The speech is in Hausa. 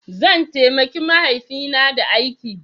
Zan taimaki mahaifina da aiki.